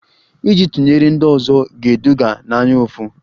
Iji tụnyere ndị ọzọ ga-eduga n'anyaụfụ